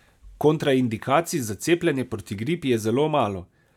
Kontraindikacij za cepljenje proti gripi je zelo malo.